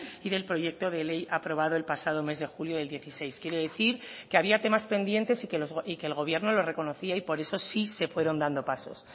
y del proyecto de ley aprobado el pasado mes de julio del dieciséis quiere decir que había temas pendientes y que el gobierno lo reconocía y por eso sí se fueron dando pasos